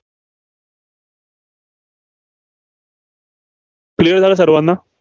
clear झालं सर्वांना?